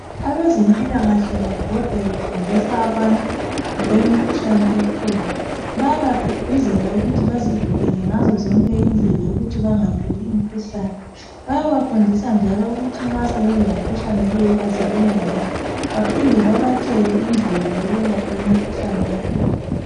Abezempilakahle babhoda befundisa abantu ngokwe mikhuhlane ekhona bayaba gqugquzela ukuthi bazivikele ukuthi bangatholi imikhuhlane bayabafindisa njalo ukuthi nxa sebelemikhuhlane le bazibona njani baphinde babatshele indlela yokwelapha imikhuhlane yakhona.